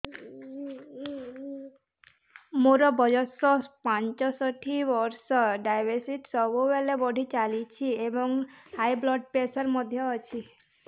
ମୋର ବୟସ ପଞ୍ଚଷଠି ବର୍ଷ ଡାଏବେଟିସ ସବୁବେଳେ ବଢି ରହୁଛି ଏବଂ ହାଇ ବ୍ଲଡ଼ ପ୍ରେସର ମଧ୍ୟ ଅଛି